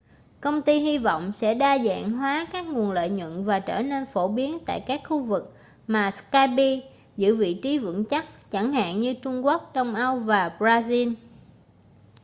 công ty hy vọng sẽ đa dạng hóa các nguồn lợi nhuận và trở nên phổ biến tại các khu vực mà skype giữ vị trí vững chắc chẳng hạn như trung quốc đông âu và brazil